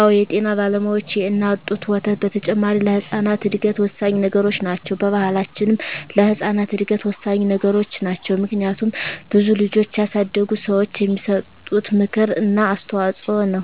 አወ የጤና ባለሙያዋች የእናት ጡት ወተት በተጨማሪ ለህጻናት እድገት ወሳኚ ነገሮች ናቸው። በባሕላችንም ለህጻናት እድገት ወሳኚ ነገሮች ናቸው። ምክንያቱም ብዙ ልጆችን ያሳደጉ ሰዋች የሚሰጡት ምክር እና አስተዋጾ ነው።